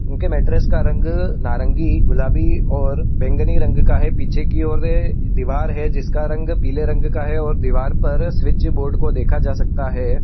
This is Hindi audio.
उनके मैट्रिक्स का रंग नारंगी गुलाबी और बैंगनी रंग का है। पीछे की ओर दिवार है। जिसका रंग पीले रंग का है और दीवार पर स्विच बोर्ड को देखा जा सकता है।